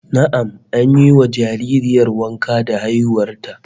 Na'am, an yi wa jaririyar wanka da haihuwar ta